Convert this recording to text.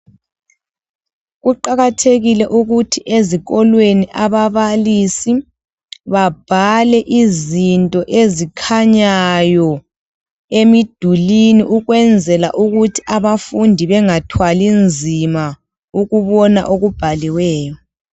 Kuqakathekile ukuthi ezikolweni ababalisi babhale izinto ezikhanyayo emidulini ukwenzela ukuthi abafundi bengathwali nzima ukubona ukuthi okubhaliweyo.